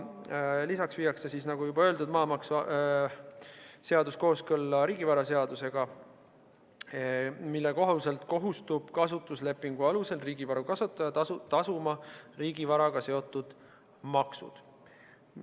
Lisaks viiakse, nagu juba öeldud, maamaksuseadus kooskõlla riigivaraseadusega, mille kohaselt kasutuslepingu alusel riigivaru kasutaja kohustub tasuma riigivaraga seotud maksud.